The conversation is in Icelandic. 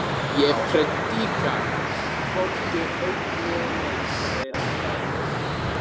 Ég predika hvorki eitt né neitt sagði Ragnhildur.